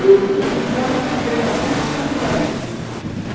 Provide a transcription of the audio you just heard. Eu fui criado na Congregação Cristã do Brasil.